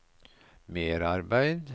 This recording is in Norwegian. merarbeid